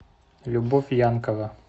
любовь янкова